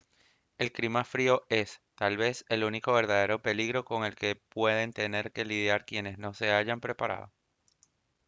el clima frío es tal vez el único verdadero peligro con el que pueden tener que lidiar quienes no se hayan preparado